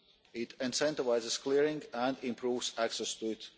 it incentivises clearing and improves access to it